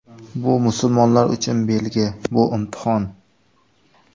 Bu musulmonlar uchun belgi, bu imtihon.